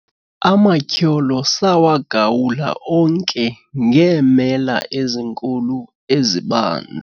amatyholo sawagawula onke ngeemela ezinkulu ezibanzi